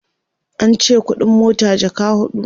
ance ƙuɗin mota jaka huɗu